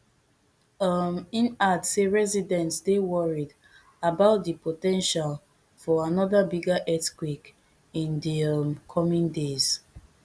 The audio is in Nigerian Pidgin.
um im add say residents dey worried about di po ten tial for another bigger earthquake in di um coming days